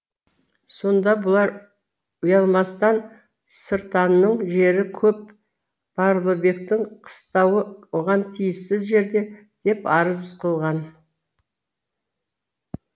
сонда бұлар ұйалмастан сыртанның жері көп барлыбектің қыстауы оған тиіссіз жерде деп арыз қылған